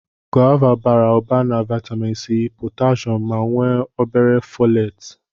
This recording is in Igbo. Gova bara ụba na vaịtamịn C, potashum ma nwee o bere fọleetị.